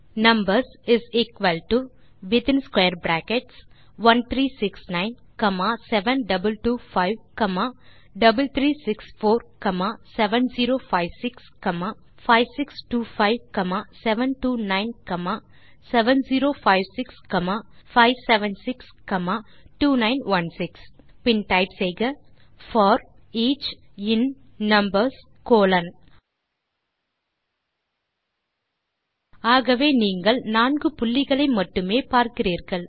numbers is equal to within square brackets 1369 7225 3364 7056 5625 729 7056 576 2916 பின் type செய்க for each in numbers colon ஆகவே நீங்கள் நான்கு புள்ளிகளை மட்டுமே பார்க்கிறீர்கள்